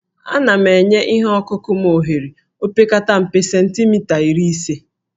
Ana m enye ihe ọkụkụ m ohere opekata mpe cemtimita iri ise